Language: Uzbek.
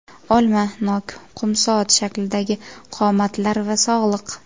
Olma, nok, qum soat shaklidagi qomatlar va sog‘liq.